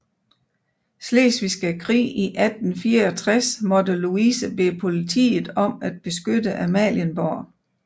Slesvigske Krig i 1864 måtte Louise bede politiet om at beskytte Amalienborg